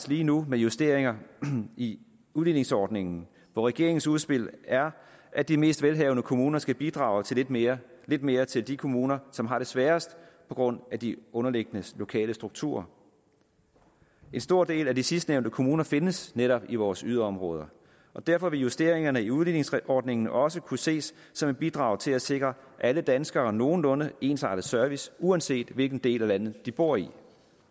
lige nu med justeringer i udligningsordningen hvor regeringens udspil er at de mest velhavende kommuner skal bidrage lidt mere lidt mere til de kommuner som har det sværest på grund af de underliggende lokale strukturer en stor del af de sidstnævnte kommuner findes netop i vores yderområder og derfor vil justeringerne i udligningsordningen også kunne ses som et bidrag til at sikre alle danskere nogenlunde ensartet service uanset hvilken del af landet de bor i